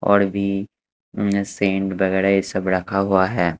और भी मशीन वगैरा ये सब रखा हुआ है।